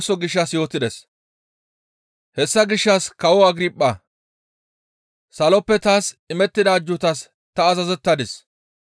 «Hessa gishshas kawo Agirphaa! Saloppe taas imettida ajjuutaas ta azazettadis.